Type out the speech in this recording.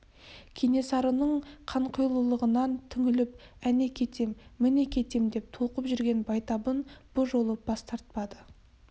кенесарының қанқұйлылығынан түңіліп әне кетем міне кетем деп толқып жүрген байтабын бұ жолы бас тартпады